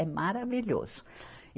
É maravilhoso.